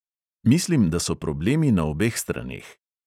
Mislim, da so problemi na obeh straneh.